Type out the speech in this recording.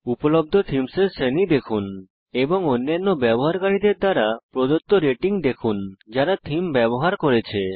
উপলব্ধ থীমসের শ্রেণী দেখুন এবং অন্যান্য ব্যবহারকারীদের দ্বারা প্রদত্ত রেটিং দেখুন যারা থীম ব্যবহার করেছে